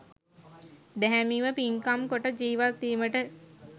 දැහැමිව පින්කම් කොට ජීවත්වීමට